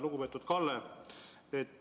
Lugupeetud Kalle!